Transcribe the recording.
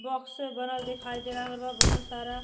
Box से भरल दिखाई दे रहल बा बहुत सारा।